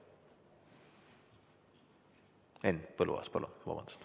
Henn Põlluaas, palun!